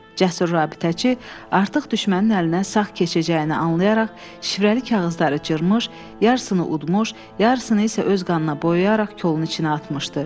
Cəsur rabitəçi artıq düşmənin əlinə sağ keçəcəyini anlayaraq şifrəli kağızları cırmış, yarısını udmuş, yarısını isə öz qanına boyayaraq kolun içinə atmışdı.